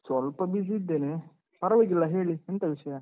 ಸ್ವಲ್ಪ busy ಇದ್ದೇನೆ. ಪರ್ವಾಗಿಲ್ಲ ಹೇಳಿ, ಎಂತ ವಿಷಯ?